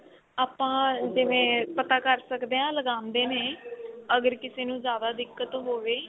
ਆਪਾਂ ਜਿਵੇਂ ਪਤਾ ਕਰ ਸਕਦੇ ਆ ਲਗਾਂਦੇ ਨੇ ਅਗਰ ਕਿਸੇ ਨੂੰ ਜਿਆਦਾ ਦਿੱਕਤ ਹੋਵੇ.